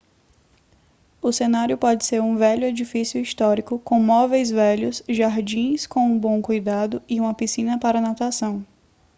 o cenário pode ser um velho edifício histórico com móveis velhos jardins com um bom cuidado e uma piscina para natação